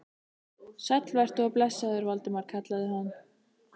Sæll vertu og blessaður, Valdimar kallaði hann.